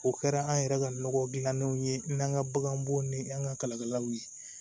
O kɛra an yɛrɛ ka nɔgɔ dilannenw ye n'an ka baganbow ni an ka kalikɛlaw ye